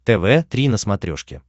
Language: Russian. тв три на смотрешке